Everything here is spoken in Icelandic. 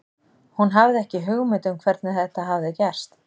Hún hafði ekki hugmynd um hvernig þetta hafði gerst.